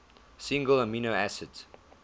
single amino acid